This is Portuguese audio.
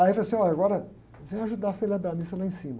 Aí eu falei assim, olha, agora eu venho ajudar a celebrar a missa lá em cima.